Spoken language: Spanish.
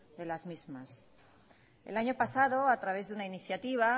de las mismas el año pasado a través de una iniciativa